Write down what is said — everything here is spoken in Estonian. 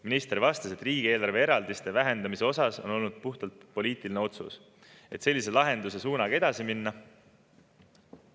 Minister vastas, et riigieelarve eraldiste vähendamine on olnud puhtalt poliitiline otsus, et sellise lahenduse suunaga edasi minna.